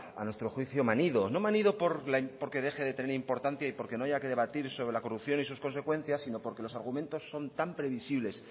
a nuestro juicio manido no manido porque deje de tener importancia y porque no haya que debatir sobre la corrupción y sus consecuencias sino porque sus argumentos son tan previsibles